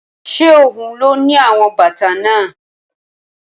Ṣé ohun ló ni àwọn bàtà náà?